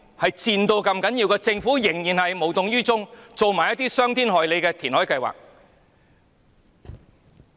可是，政府仍然無動於衷，提出這種傷天害理的填海計劃。